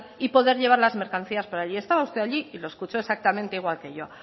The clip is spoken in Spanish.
y poder llevar las mercancías por allí estaba usted allí y lo escuchó exactamente igual que yo